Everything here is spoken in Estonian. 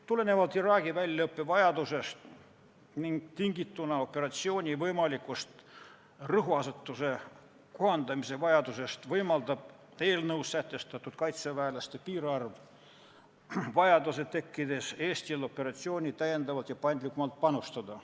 Tulenevalt Iraagi väljaõppevajadusest ning tingituna operatsiooni võimalikust rõhuasetuse kohandamise vajadusest võimaldab eelnõus sätestatud kaitseväelaste piirarv vajaduse tekkides Eestil operatsiooni täiendavalt ja paindlikumalt panustada.